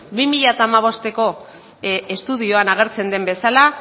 bi mila hamabosteko estudioan agertzen den bezala